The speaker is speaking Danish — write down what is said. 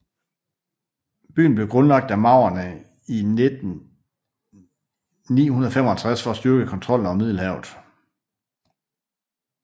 Byen blev grundlagt af maurerne i 955 for at styrke kontrollen over Middelhavet